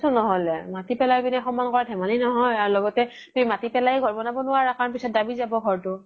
ন্হ্'লে মাতি পেলাই পিনে সমান কৰাতো ধেমালি নহয় আৰু লগতে তুমি মাতি পেলাইয়ে ঘৰ বনাব নোৱাৰা কাৰন পিছত দাবি যাব ঘৰতো